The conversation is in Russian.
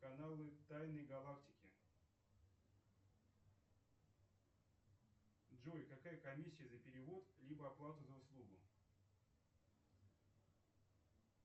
каналы тайны галактики джой какая комиссия за перевод либо оплата за услугу